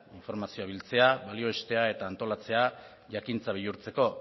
informazio biltzea balioestea eta antolatzea jakintza bihurtzeko